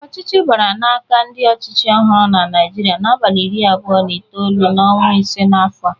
Ọchịchị bara n'aka ndị ọchịchị ọhụrụ n'Naịjịrịa n'abalị iri abụo na itolu n'ọnwa ise n'afọ a.